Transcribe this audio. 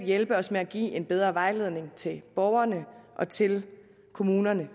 hjælpe os med at give en bedre vejledning til borgerne og til kommunerne